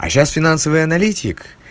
а сейчас финансовый аналитик